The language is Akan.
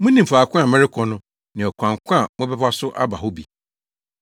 Munim faako a merekɔ no ne ɔkwan ko a mobɛfa so aba hɔ bi.”